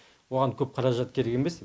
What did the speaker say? оған көп қаражат керек емес